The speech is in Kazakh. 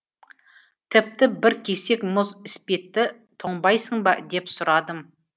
тіпті бір кесек мұз іспетті тоңбайсың ба деп сурадым